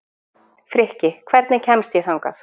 Frikki, hvernig kemst ég þangað?